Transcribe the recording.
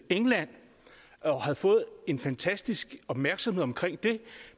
england og havde fået en fantastisk opmærksomhed omkring det